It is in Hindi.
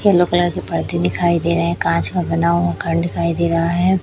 येलो कलर की पर्दे दिखाई दे रहे कांच का बना हुआ घर दिखाई दे रहा है।